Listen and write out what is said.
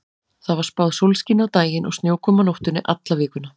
Það var spáð sólskini á daginn og snjókomu á nóttunni alla vikuna.